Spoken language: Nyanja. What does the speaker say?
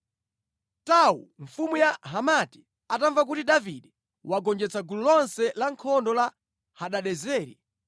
Tou, mfumu ya Hamati atamva kuti Davide wagonjetsa gulu lonse lankhondo la Hadadezeri,